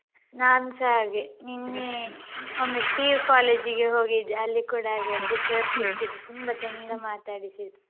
ನಾನ್ಸ ಹಾಗೆ ನಿನ್ನೆ ಒಮ್ಮೆ PU college ಇಗೆ ಹೋಗಿದ್ದೆ ಅಲ್ಲಿ ಕೂಡ ಹಾಗೇನೇ sir ಸಿಕ್ಕಿದ್ರು ತುಂಬ ತುಂಬ ಚಂದ ಮಾತಾಡಿಸಿದ್ರು.